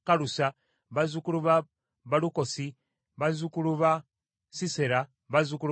bazzukulu ba Balukosi, bazzukulu ba Sisera, bazzukulu ba Tema,